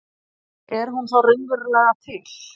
Er hún þá raunverulega til?